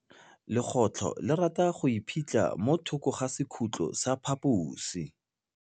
Legôtlô le rata go iphitlha mo thokô ga sekhutlo sa phaposi.